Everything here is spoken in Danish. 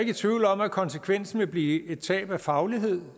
i tvivl om at konsekvensen vil blive et tab af faglighed